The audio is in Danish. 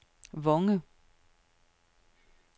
Vonge